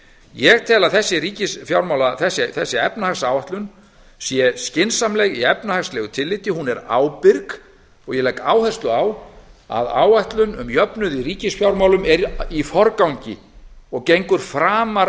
ég tel að þessi efnahagsáætlun sé skynsamleg í efnahagslegu tilliti hún er ábyrg og ég legg áherslu á að áætlun um jöfnuð í ríkisfjármálum er í forgangi og gengur framar